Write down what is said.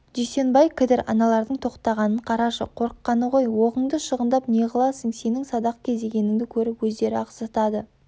дүйсенбай кідір аналардың тоқтағанын қарашы қорыққаны ғой оғыңды шығындап неғыласың сенің садақ кезегеніңді көріп өздері-ақ зытады